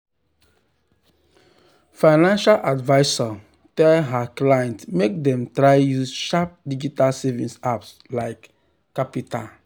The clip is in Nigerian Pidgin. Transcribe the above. financial advisor tell her clients make dem try use sharp digital savings apps like qapital.